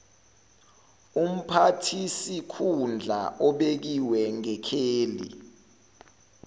umphathisikhundla obekiwe ngekheli